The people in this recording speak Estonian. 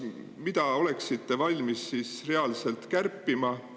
Mida oleksite valmis reaalselt kärpima?